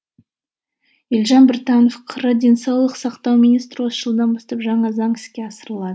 елжан біртанов қр денсаулық сақтау министрі осы жылдан бастап жаңа заң іске асырылады